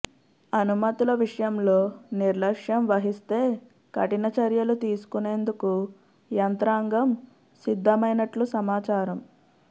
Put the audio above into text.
అనుమతుల విషయంలో నిర్లక్ష్యం వహిస్తే కఠిన చర్యలు తీసుకునేందుకు యంత్రాంగం సిద్ధమైనట్లు సమాచారం